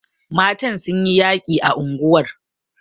Matan sun yi yaƙi a unguwar..